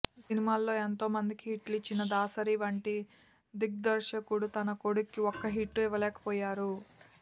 సినిమాల్లో ఎంతోమందికి హిట్లిచ్చిన దాసరి వంటి దిగ్దర్శకుడు తన కొడుక్కి ఒక్క హిట్టూ ఇవ్వలేకపోయారు